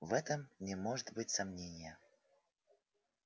в этом не может быть сомнения